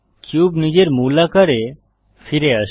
cube নিজের মূল আকারে ফিরে আসে